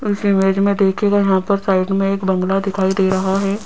इस इमेज में देखिएगा यहां पर साइड में एक बंगला दिखाई दे रहा है।